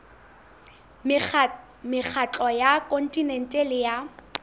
mekgatlo ya kontinente le ya